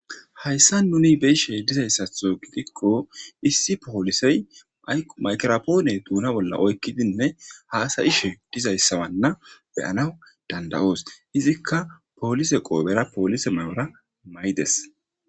Haysan nun beyishe dizaysatho gidikon issi polisey ayko maykropone duna bolla oykidinne hasa'ishe dizaysa mala beyanaw danda'os. Izzika polise qopera polise mayora mayides.